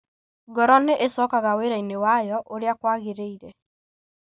Ngoro nĩ ĩcokaga wĩra-inĩ wayo ũrĩa kwagĩrĩire.